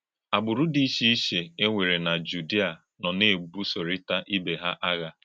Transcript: Àgbùrù dị iche iche e wèrè na Jùdìà nọ na-ebùsọ̀rítà ìbè hà àgha.